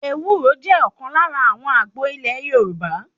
Ewúro jẹ́ ọ̀kan lára àwọn àgbo ilé Yorùbá.